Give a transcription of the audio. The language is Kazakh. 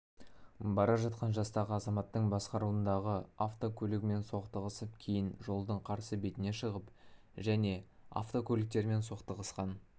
бара жатқан жастағы азаматтың басқаруындағы автокөлігімен соқтығысып кейін жолдың қарсы бетіне шығып және автокөліктерімен соқтығысқан